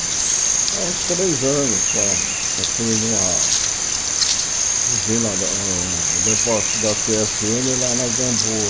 Ah uns três anos só, construindo uma usina na, um depósito da cê ésse êne lá na Gamboa.